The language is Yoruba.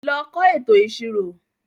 Lọ kọ́ ètò ìṣirò.